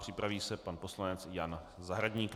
Připraví se pan poslanec Jan Zahradník.